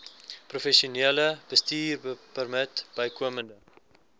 professionele bestuurpermit bykomend